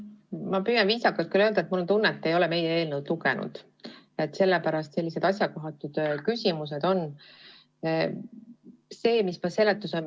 Ma püüan viisakalt öelda, et mul on tunne, et te ei ole meie eelnõu lugenud ja sellepärast esitategi selliseid asjakohatuid küsimusi.